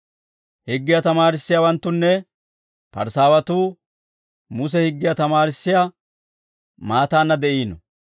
«Higgiyaa tamaarissiyaawanttunne Parisaawatuu Muse higgiyaa tamaarissiyaa maataanna de'iino.